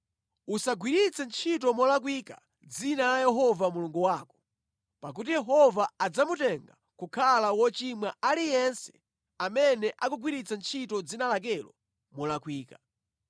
“Usagwiritse ntchito molakwika dzina la Yehova Mulungu wako, pakuti Yehova adzamutenga kukhala wochimwa aliyense amene akugwiritsa ntchito dzina lakelo molakwika.